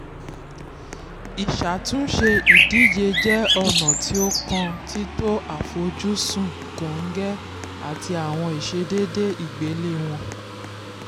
ìṣàtúnṣe ìdíje jẹ́ ọ̀nà tí ó kan títo àfojúsùn kọ́ngẹ àti àwọn ìṣèdédé ìgbéléwọ́n.